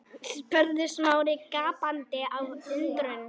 spurði Smári gapandi af undrun.